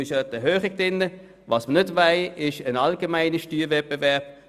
Allerdings möchten wir keinen allgemeinen Steuerwettbewerb.